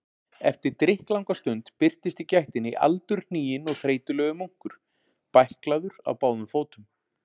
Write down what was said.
Eftir drykklanga stund birtist í gættinni aldurhniginn og þreytulegur munkur, bæklaður á báðum fótum.